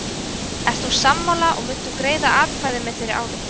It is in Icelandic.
Ert þú sammála og munt þú greiða atkvæði með þeirri ályktun?